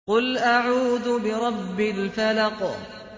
قُلْ أَعُوذُ بِرَبِّ الْفَلَقِ